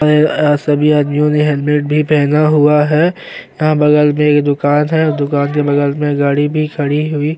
अ सभी आदमियों ने हेलमेट भी पहना हुआ है यहां बगल में एक दुकान है दुकान के बगल में गाड़ी भी खड़ी हुई --